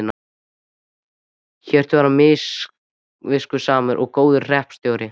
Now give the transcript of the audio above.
Hjörtur var samviskusamur og góður hreppstjóri.